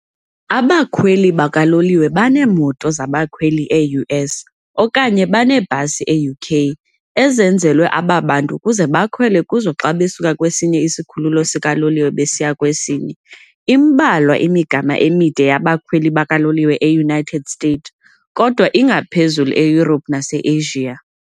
Abakhweli bakaloliwe baneemoto zabakhweli, e-US, okanye baneebhasi, e-UK, ezenzelwe aba bantu ukuze bakhwele kuzo xa besuka kwesinye isikhululo sikaloliwe besiya kwesinye. Imbalwa imigama emide yabakhweli bakaloliwe e-United States, kodwa ingaphezulu e-Europe nase-Asia.